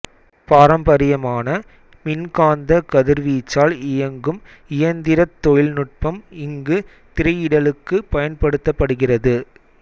பாரம்பாரியமான மின்காந்த கதிர்வீச்சால் இயங்கும் இயந்திரத் தொழில் நுட்பம் இங்கு திரையிடலுக்கு பயன்படுத்தப்படுகிறது